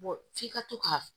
f'i ka to ka